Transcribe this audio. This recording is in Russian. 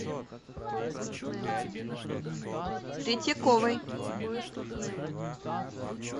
третьяковой